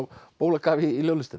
bólakaf í